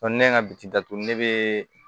ne ka bi datugu ne bee